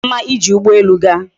O ka mma ije ugbo elu gaa?